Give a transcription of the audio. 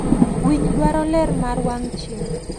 Winy dwaro ler mar wang' chieng'.